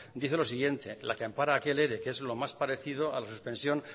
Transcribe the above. dice lo siguiente la que ampara aquel ere que es lo más parecido a la suspensión